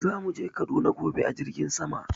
Za mu je kaduna gobe a jirgin sama.